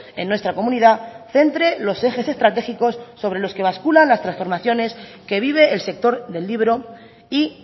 en nuestra comunidad centre los ejes estratégicos sobre los que bascula las transformaciones que vive el sector del libro y